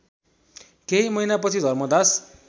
केही महिनापछि धर्मदास